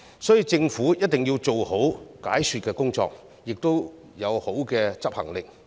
所以，政府一定要做好解說工作，並且要有好的執行力。